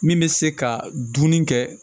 Min bɛ se ka dumuni kɛ